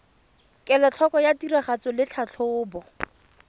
kelotlhoko ya tiragatso le tlhatlhobo